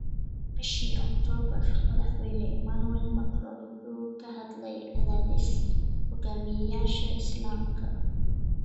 Bishii Oktoobar, madaxweyne Emmanuel Macron wuxuu ka hadlay "cadaadis" hoggaamiyeyaasha Islaamka.